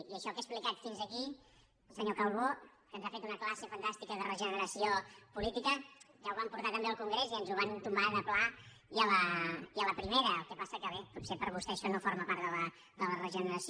i això que he explicat fins aquí senyor calbó que ens ha fet una classe fantàstica de regeneració política ja ho vam portar també al congrés i ens ho van tombar de pla i a la primera el que passa que bé potser per vostè això no forma part de la regeneració